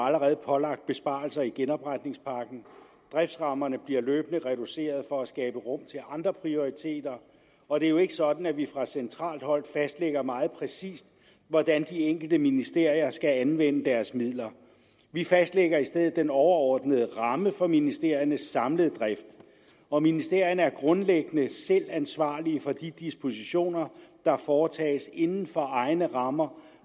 allerede pålagt besparelser i genopretningspakken driftsrammerne bliver løbende reduceret for at skabe rum til andre prioriteringer og det er jo ikke sådan at vi fra centralt hold fastlægger meget præcist hvordan de enkelte ministerier skal anvende deres midler vi fastlægger i stedet den overordnede ramme for ministeriernes samlede drift og ministerierne er grundlæggende selv ansvarlige for de dispositioner der foretages inden for egne rammer